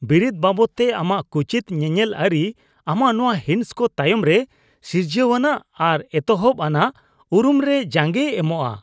ᱵᱤᱨᱤᱫ ᱵᱟᱵᱚᱫᱛᱮ ᱟᱢᱟᱜ ᱠᱩᱪᱤᱛ ᱧᱮᱧᱮᱞ ᱟᱹᱨᱤ ᱟᱢᱟᱜ ᱱᱚᱶᱟ ᱦᱤᱸᱥ ᱠᱚ ᱛᱟᱭᱚᱢ ᱨᱮ ᱥᱤᱨᱡᱟᱣᱟᱱᱟᱜ ᱟᱨ ᱮᱛᱚᱦᱚᱵ ᱟᱱᱟᱜ ᱩᱨᱩᱢ ᱨᱮ ᱡᱟᱸᱜᱮᱭ ᱮᱢᱚᱜᱼᱟ ᱾